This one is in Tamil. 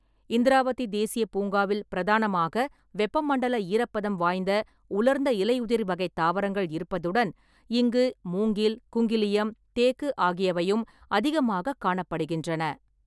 இந்திராவதி தேசியப் பூங்காவில் பிரதானமாக வெப்பமண்டல ஈரப்பதம் வாய்ந்த உலர்ந்த இலையுதிர் வகைத் தாவரங்கள் இருப்பதுடன் இங்கு மூங்கில், குங்கிலியம், தேக்கு ஆகியவையும் அதிகமாகக் காணப்படுகின்றன.